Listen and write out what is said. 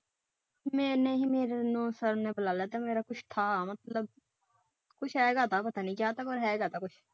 ਕੁਝ ਹੈਗਾ ਥਾਂ ਮਤਲਬ ਕੁਛ ਹੈਗਾ ਥਾਂ ਪਤਾ ਨਹੀਂ ਕੀਆ ਥਾਂ?